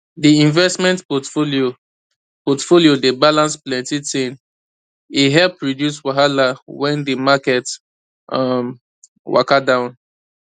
di investment portfolio portfolio dey balance plenty ting e help reduce wahala wen di market um waka down